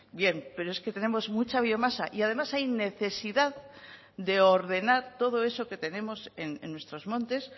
bien pero es que tenemos mucha biomasa y además hay necesidad de ordenar todo eso que tenemos en nuestros montes